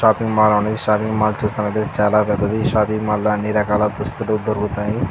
Shopping mall ఉన్నదీ ఈ shopping mall చూస్తున్నటైతే చాలా పెద్దది ఈ షాపింగ్ మాల్ లో అన్ని రకాల దుస్తులు దొరుకుతాయి.